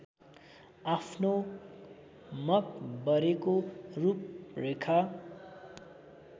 आफ्नो मकबरेको रूपरेखा